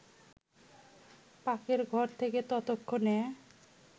পাকের ঘর থেকে ততক্ষণে